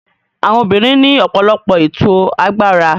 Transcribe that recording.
Àwọn obìnrin ní ọ̀pọ̀lọpọ̀ ètò agbára.